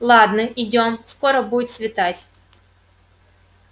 ладно идём скоро будет светать